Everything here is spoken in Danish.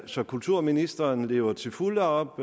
så kulturministeren lever til fulde op